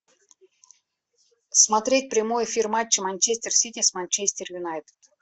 смотреть прямой эфир матча манчестер сити с манчестер юнайтед